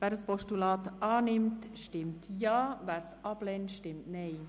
Wer dieses Postulat annimmt, stimmt Ja, wer dieses ablehnt, stimmt Nein.